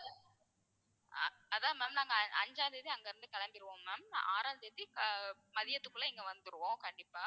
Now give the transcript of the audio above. அதான் ma'am நாங்க ஆஹ் அஞ்சாம் தேதி அங்க இருந்து கிளம்பிடுவோம் ma'am ஆறாம் தேதி ஆஹ் மதியத்துக்குள்ள இங்க வந்துருவோம் கண்டிப்பா.